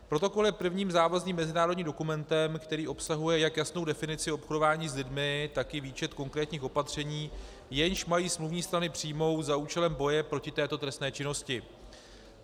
Protokol je prvním závazným mezinárodním dokumentem, který obsahuje jak jasnou definici obchodování s lidmi, tak i výčet konkrétních opatření, jež mají smluvní strany přijmout za účelem boje proti této trestné činnosti.